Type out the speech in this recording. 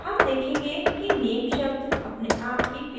name देखेंगे कि name शब्द अपने आप ही pasted हो गया है